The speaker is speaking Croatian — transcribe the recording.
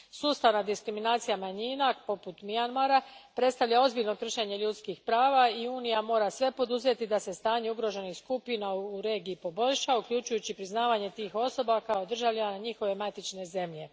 Sustavna diskriminacija manjina, poput Mjanmara, predstavlja ozbiljno kršenje ljudskih prava i Unija mora poduzeti sve da se stanje ugroženih skupina u regiji poboljša, uključujući priznavanje tih osoba kao državljana njihove matične zemlje.